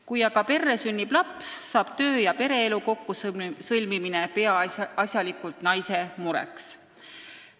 Kui aga perre sünnib laps, saab töö- ja pereelu kokkusõlmimine peaasjalikult naise mureks.